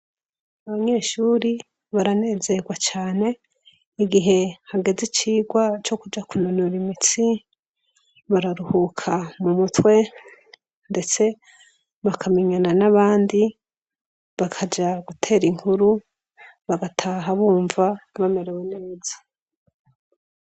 Abanyeshure baranezerwa cane, mugihe hageze icigwa co kuja kunonora imitsi , bararuhuka mumutwe ,ndetse bakamenyana n'abandi, bakaja guter'inkuru, bagataha bumva bamerewe neza.